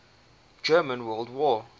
german world war